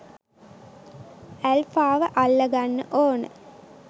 ඇල්ෆාව අල්ලගන්න ඕන